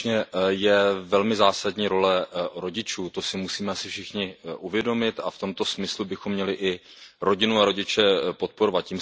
Skutečně je velmi zásadní role rodičů, to si musíme asi všichni uvědomit a v tomto smyslu bychom měli i rodinu a rodiče podporovat.